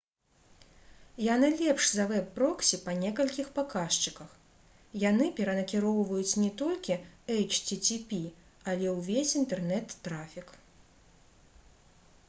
яны лепш за вэб-проксі па некалькіх паказчыках яны перанакіроўваюць не толькі http але ўвесь інтэрнэт-трафік